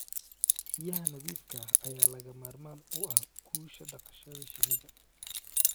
Biyaha nadiifka ah ayaa lagama maarmaan u ah guusha dhaqashada shinnida.